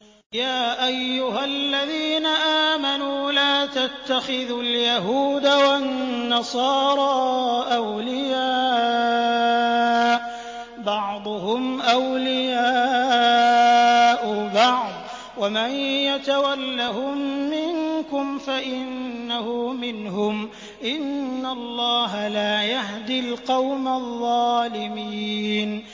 ۞ يَا أَيُّهَا الَّذِينَ آمَنُوا لَا تَتَّخِذُوا الْيَهُودَ وَالنَّصَارَىٰ أَوْلِيَاءَ ۘ بَعْضُهُمْ أَوْلِيَاءُ بَعْضٍ ۚ وَمَن يَتَوَلَّهُم مِّنكُمْ فَإِنَّهُ مِنْهُمْ ۗ إِنَّ اللَّهَ لَا يَهْدِي الْقَوْمَ الظَّالِمِينَ